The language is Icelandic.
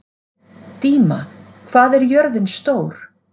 Díma, hvað er jörðin stór?